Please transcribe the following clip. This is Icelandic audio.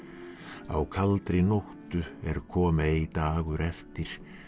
á kaldri nóttu er kom ei dagur eftir